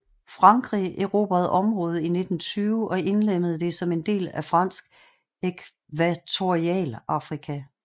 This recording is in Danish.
Frankrig erobrede området i 1920 og indlemmede det som en del af Fransk Ækvatorialafrika